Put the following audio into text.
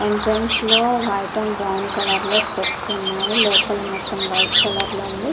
Entrance లో white and brown colour లో steps ఉన్నాయి లోపల మొత్తం వైట్ కలర్ లో ఉంది.